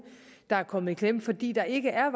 der er kommet i klemme fordi der ikke er